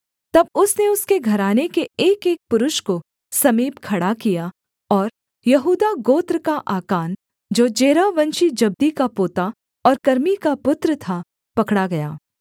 तब उसने उसके घराने के एकएक पुरुष को समीप खड़ा किया और यहूदा गोत्र का आकान जो जेरहवंशी जब्दी का पोता और कर्मी का पुत्र था पकड़ा गया